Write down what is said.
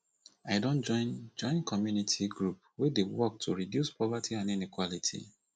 i don join join community group wey dey work to reduce poverty and inequality